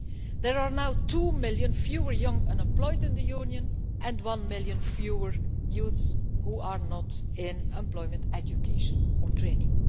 There are now two million fewer young unemployed in the Union and one million fewer young people who are not in employment, education or training.